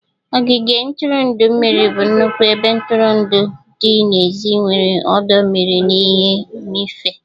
Ogige ntụrụndụ mmiri bụ nnukwu ebe ntụrụndụ dị n'èzí nwere ọdọ mmiri na ihe mmịfe